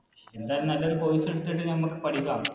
എന്തായാലും നല്ലൊരു course എടുത്തിട്ട് ഞമ്മക്ക് പഠിക്കാം